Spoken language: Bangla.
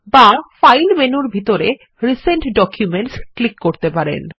বা ফাইল মেনুর ভিতরেRecent ডকুমেন্টস ক্লিক করতে পারেন